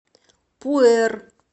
пуэр